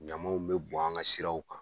Ɲamaw be bɔn an ka siraw kan.